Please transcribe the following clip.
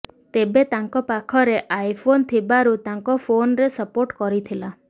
ତେବେ ତାଙ୍କ ପାଖରେ ଆଇ ଫୋନ୍ ଥିବାରୁ ତାଙ୍କ ଫୋନ୍ରେ ସପୋର୍ଟ କରିଥିଲା